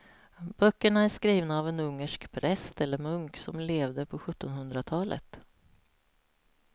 Böckerna är skrivna av en ungersk präst eller munk som levde på sjuttonhundratalet.